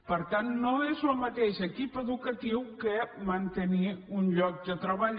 per tant no és el mateix equip educatiu que mantenir un lloc de treball